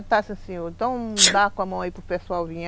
Eu disse assim, então dá com a mão aí para o pessoal vir.